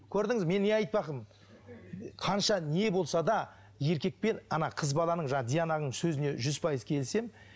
көрдіңіз ба мен не айтпақпын қанша не болса да еркек пен ана қыз баланың жаңағы диананың сөзіне жүз пайыз келісемін